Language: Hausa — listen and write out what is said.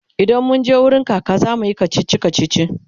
idan munje wurin kaka zamuyi kachichi kachichi